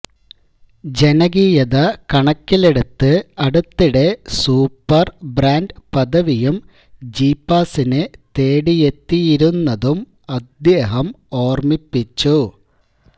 ജനകീയത കണക്കിലെടുത്ത് അടുത്തിടെ super brand പദവിയും ജീപ്പാസിനെ തേടിയെത്തിയിരുന്നതും അദ്ദേഹം ഓര്മിപ്പിച്ചു